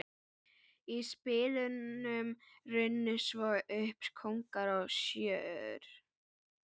Í spilunum runnu svo upp kóngar og sjöur.